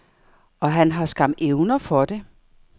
Og han har skam evner for det.